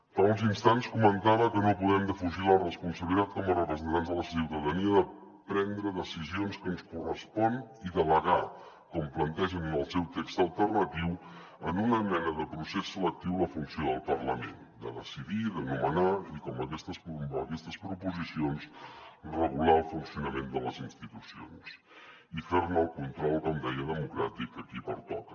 fa uns instants comentava que no podem defugir la responsabilitat com a representants de la ciutadania de prendre decisions que ens corresponen i delegar com plantegen el seu text alternatiu en una mena de procés selectiu la funció del parlament de decidir de nomenar i com aquestes proposicions regular el funcionament de les institucions i fer ne el control com deia democràtic a qui pertoca